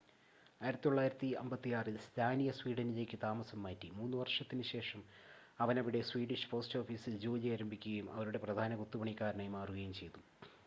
1956-ൽ Slania സ്വീഡനിലേക്ക് താമസം മാറ്റി മൂന്ന് വർഷത്തിന് ശേഷം അവൻ അവിടെ സ്വീഡിഷ് പോസ്‌റ്റോഫീസിൽ ജോലി ആരംഭിക്കുകയും അവരുടെ പ്രധാന കൊത്തുപണിക്കാരനായി മാറുകയും ചെയ്തു